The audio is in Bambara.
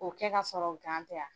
O kɛ ka sɔrɔ tɛ ya.